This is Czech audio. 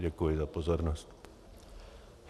Děkuji za pozornost.